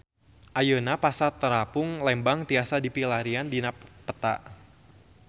Ayeuna Pasar Terapung Lembang tiasa dipilarian dina peta